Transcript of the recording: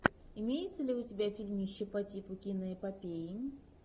имеется ли у тебя фильмище по типу киноэпопеи